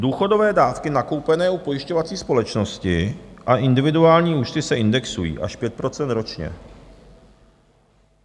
Důchodové dávky nakoupené u pojišťovací společnosti a individuální účty se indexují až 5 % ročně.